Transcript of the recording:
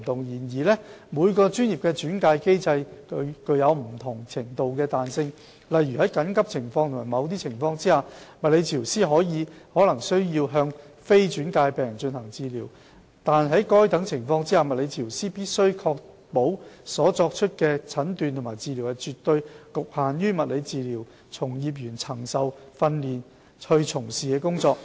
然而，每個專業的轉介機制具有不同程度的彈性，例如在緊急情況及某些情況下，物理治療師可能需要向非轉介的病人進行治療，惟在該等情況下，物理治療師必須確保所作的診斷或治療是絕對局限於物理治療從業員曾受訓練從事的工作。